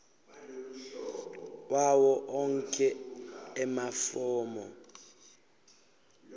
wawo onkhe emafomu